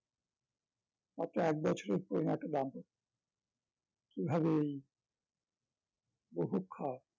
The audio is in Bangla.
মাত্র একবছরের পুরোনো একটা দাম্পত্য কিভাবে এই বুভুক্ষা